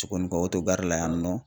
Cogonikɔ otogari la yan nɔ